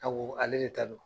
Ka ale de ta don.